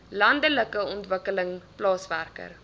landelike ontwikkeling plaaswerker